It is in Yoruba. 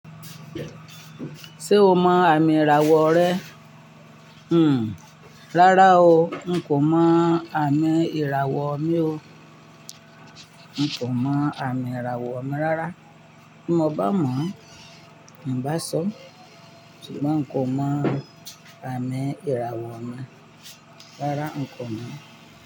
Ṣé o mọ àmì ìràwọ̀ rẹ? Hmm, rárá o, n kò mọ àmì ìràwọ̀ mi o. N kò mọ àmì ìràwọ̀ mi rárá. N mo bá mọ̀, n bá sọ. Ṣùgbọ́n n kò mọ àmì ìràwọ̀ mi. Rárá, n kò mọ.